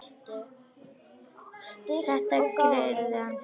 Þetta gerði hann þrisvar sinnum.